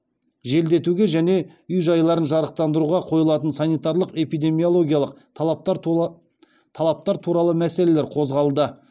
желдетуге және үй жайларын жарықтандыруға қойылатын санитарлық эпидемиологиялық талаптар туралы мәселелер қозғалды